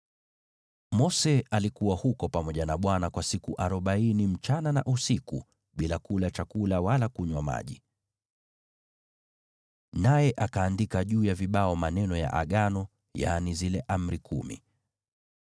Mose alikuwa huko pamoja na Bwana kwa siku arobaini usiku na mchana bila kula chakula wala kunywa maji. Naye akaandika juu ya vibao maneno ya Agano, yaani zile Amri Kumi.